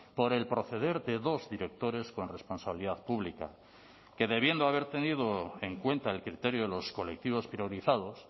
por el proceder de dos directores con responsabilidad pública que debiendo haber tenido en cuenta el criterio de los colectivos priorizados